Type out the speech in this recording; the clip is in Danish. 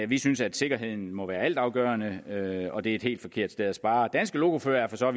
vi synes at sikkerheden må være altafgørende og det er et helt forkert sted at spare danske lokoførere forstår